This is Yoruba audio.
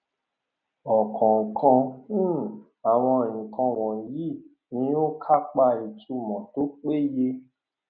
ọkọọkan um àwọn nǹkan wọnyí ni ó kápá ìtumọ tó péye